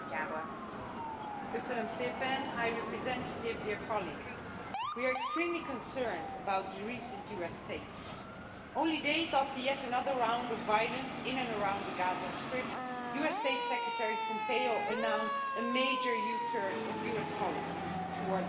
Madam President, we are extremely concerned about the recent US statement. Only days after yet another round of violence in and around the Gaza Strip, US State Secretary Pompeo announced a major U turn of US policy towards Israeli settlements.